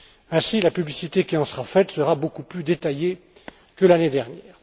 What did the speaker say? Ainsi, la publicité qui en sera faite sera beaucoup plus détaillée que l'année dernière.